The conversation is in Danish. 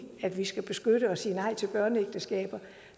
at vi skal beskytte og sige nej til børneægteskaber